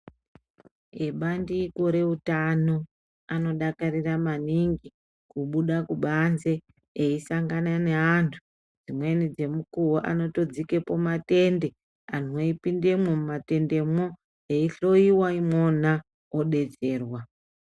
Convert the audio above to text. Ebandiko reutano, anodakarira maningi, kubuda kubanze, eisangana neantu dzimweni dzemukuwo anotodzikapo matende, anhu eipindemwo mumatendemao, eihlowiwa imwoma odetserwa.